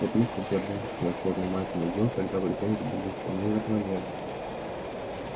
вот если бы я бабочку на чёрную майку надел тогда претензии были бы вполне закономерны